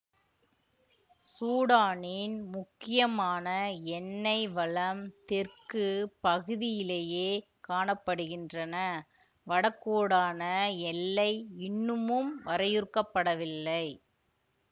சூடானின் முக்கியமான எண்ணெய் வளம் தெற்கு பகுதியிலேயே காண படுகின்றன வடக்குடான எல்லை இன்னமும் வரையறுக்கப்படவில்லை